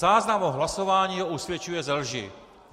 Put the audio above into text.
Záznam o hlasování ho usvědčuje ze lži.